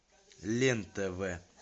лен тв